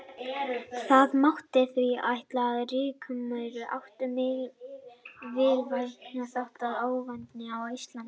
Það mátti því ætla að rykmaurar ættu mikilvægan þátt í ofnæmi á Íslandi.